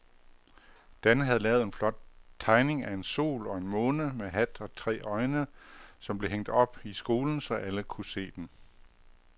Dan havde lavet en flot tegning af en sol og en måne med hat og tre øjne, som blev hængt op i skolen, så alle kunne se den.